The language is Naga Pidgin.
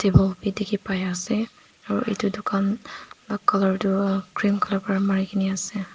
low b diki pai ase aro etu dukan la color tu green color pera mari kina ase.